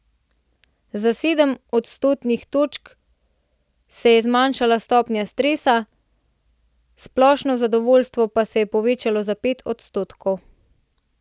Za sedem odstotnih točk se je zmanjšala stopnja stresa, splošno zadovoljstvo pa se je povečalo za pet odstotkov.